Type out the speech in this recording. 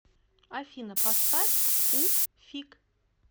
афина поставь у фиг